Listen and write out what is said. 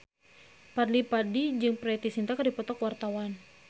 Fadly Padi jeung Preity Zinta keur dipoto ku wartawan